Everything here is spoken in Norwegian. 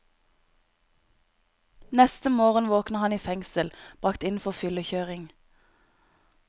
Neste morgen våkner han i fengsel, brakt inn for fyllekjøring.